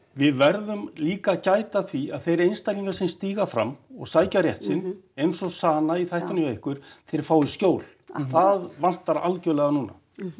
við verðum líka að gæta að því að þeir einstaklingar sem stíga fram og sækja rétt sinn eins og Sana í þættinum hjá ykkur þeir fái skjól það vantar algjörlega núna